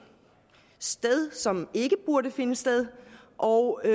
sted som ikke burde finde sted og det